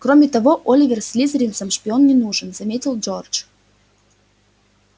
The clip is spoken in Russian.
кроме того оливер слизеринцам шпион не нужен заметил джордж